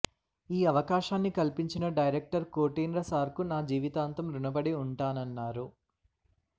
ఈ అవకాశాన్ని కల్పించిన డైరెక్టర్ కోటేంద్ర సార్ కు నా జీవితాంతం రుణపడి ఉంటానన్నారు